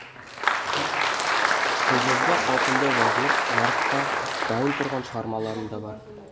қолжазба қалпында жазылып жарыққа дайын тұрған шығармаларым да бар